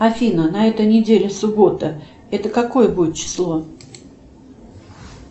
афина на этой неделе суббота это какое будет число